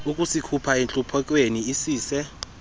ukuzikhupha entluphekweni isise